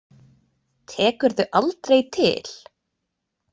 Tekurðu aldrei til?